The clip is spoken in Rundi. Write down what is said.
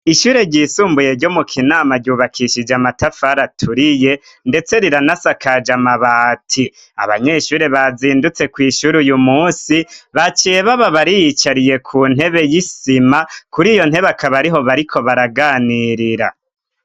Ishure ryisumbuye ryo mu kinama ryubakishije amatafari aturiye ndetse riranasakaje amabati. Abanyeshure bazindutse kw'ishuri yu munsi baciye baba bariyicariye ku ntebe y'isima kuri iyo ntebe akaba ariho bariko baraganirira.